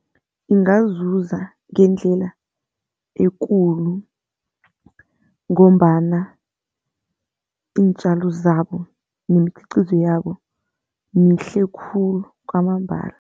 Ingazuza ngendlela ekulu ngombana iintjalo zabo nemikhiqizo yabo mihle khulu kwamambala.